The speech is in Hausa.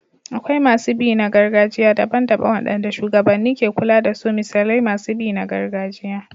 Akwai masu bi na gargajiya daban-daban waɗanda shugabanni ke kula da su misali masu bi na gargajiya.